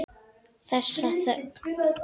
Þessa þögn.